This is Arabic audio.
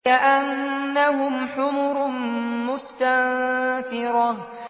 كَأَنَّهُمْ حُمُرٌ مُّسْتَنفِرَةٌ